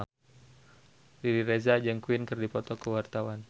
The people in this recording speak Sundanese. Riri Reza jeung Queen keur dipoto ku wartawan